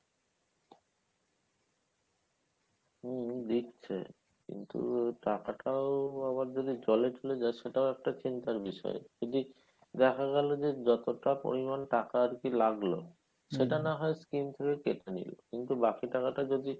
হম দিচ্ছে কিন্তু টাকাটাও আবার যদি জলে চলে যায় সেটাও একটা চিন্তার বিষয় যদি দেখা গেলো যে যতটা পরিমান টাকা আরকি লাগলো সেটা নাহয় scheme থেকে কেটে নিলো কিন্তু বাকি টাকাটা যদি